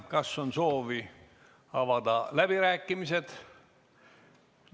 Kas on soovi avada läbirääkimised?